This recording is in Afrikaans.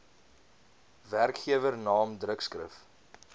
werkgewer naam drukskrif